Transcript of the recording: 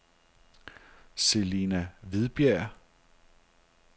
Celina Hvidberg